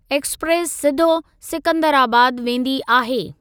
Express सिधो सिकंदराबाद वेंदी आहे।